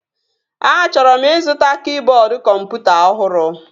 Achọrọ m ịzụta kịboodu kọmputa ọhụrụ